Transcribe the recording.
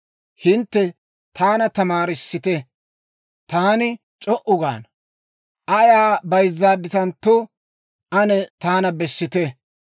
«Hintte taana tamaarissite; taani c'o"u gaana. Ayaa bayzzaadditantto, ane taana bessite.